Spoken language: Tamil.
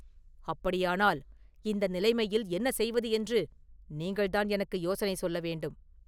“அப்படியானால் இந்த நிலைமையில் என்ன செய்வது என்று நீங்கள்தான் எனக்கு யோசனை சொல்ல வேண்டும்.